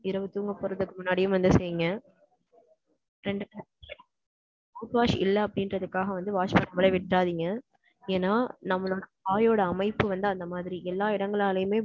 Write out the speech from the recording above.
இரவு, தூங்க போறதுக்கு முன்னாடியும் வந்து, செய்ங்க. ரெண்டு பெ~ mouthwash இல்லை அப்படின்றதுக்காக வந்து, wash பண்ணாம விட்றாதீங்க. ஏன்னா, நம்மலோட வாயோட அமைப்பு வந்து, அந்த மாதிரி. எல்லா இடங்களாலையுமே,